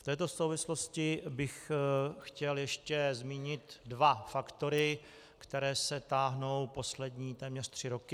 V této souvislosti bych chtěl ještě zmínit dva faktory, které se táhnou poslední téměř tři roky.